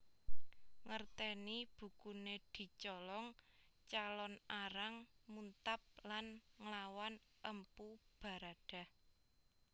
Ngerteni bukune dicolong Calon Arang muntab lan nglawan Empu Baradah